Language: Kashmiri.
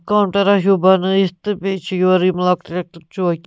کونٛڑا ہیوٗبنٲیِتھ تہٕ بیٚیہِ چھ یورٕ یِمہٕ لۄکٹہِ لۄکٹہِ چوکہِ